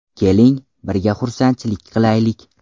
Keling, birga xursandchilik qilaylik.